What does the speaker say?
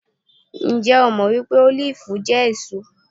Ǹjẹ́ o jẹ́ mọ́ wípé Ólífì jẹ́ èso?